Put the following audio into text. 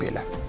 Deyirəm belə.